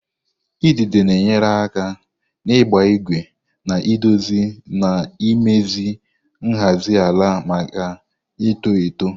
idide na-enyere aka n'ịgba ígwè na-edozi na imezi nhazi ala maka ito eto.